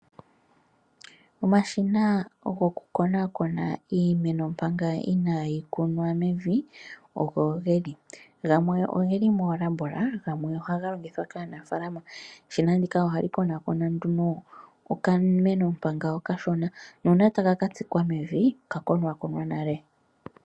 Omashina goku konaakona iimeno manga inaayi kunwa mevi oko geli, gamwe ogeli moolabola, gamwe ohaga longithwa kaanafaalama. Eshina ndino ohali konaakona nduno okameno manga okashona nuuna taka ka tsikwa mevi, oka konwaakonwa nale.